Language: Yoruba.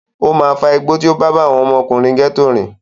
Ó máa fa igbó tí ó bá bá àwọn ọmọkùnrin gẹ́tò rìn.